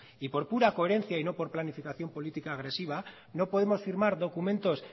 y por pura coherencia y no por planificación política agresiva no podemos firmar documentos